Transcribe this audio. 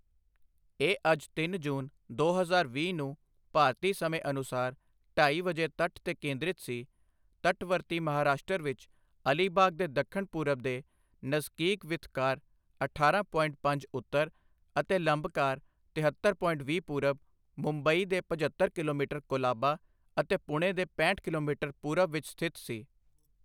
ਇਹ ਅੱਜ ਤਿੰਨ ਜੂਨ, ਦੋ ਹਜ਼ਾਰ ਵੀਹ ਨੂੰ ਭਾਰਤੀ ਸਮੇਂ ਅਨੁਸਾਰ ਢਾਈ ਵਜੇ ਤਟ ਤੇ ਕੇਂਦ੍ਰਿਤ ਸੀ, ਤਟਵਰਤੀ ਮਹਾਰਾਸ਼ਟਰ ਵਿੱਚ ਅਲੀਬਾਗ ਦੇ ਦੱਖਣ ਪੂਰਬ ਦੇ ਨਜ਼ਕੀਕ ਵਿਥਕਾਰ ਅਠਾਰਾਂ ਪੋਇੰਟ ਪੰਜ ਉੱਤਰ ਅਤੇ ਲੰਬਕਾਰ ਤਿਹੱਤਰ ਪੋਇੰਟ ਵੀਹ ਪੂਰਬ, ਮੁੰਬਈ ਦੇ ਪਝੱਤਰ ਕਿਲੋਮੀਟਰ ਕੋਲਾਬਾ ਅਤੇ ਪੁਣੇ ਦੇ ਪੈਂਹਠ ਕਿਲੋਮੀਟਰ ਪੂਰਬ ਵਿੱਚ ਸਥਿਤ ਸੀ।